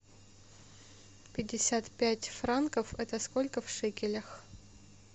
пятьдесят пять франков это сколько в шекелях